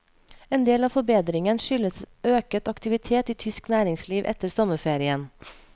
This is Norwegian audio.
Endel av forbedringen skyldes øket aktivitet i tysk næringsliv etter sommerferien.